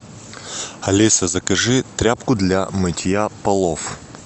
алиса закажи тряпку для мытья полов